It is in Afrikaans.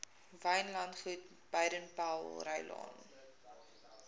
wynlandgoed baden powellrylaan